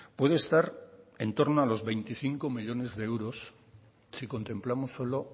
puede estar en torno a los veinticinco millónes de euros si contemplamos solo